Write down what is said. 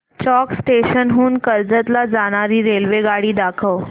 चौक station हून कर्जत ला जाणारी रेल्वेगाडी दाखव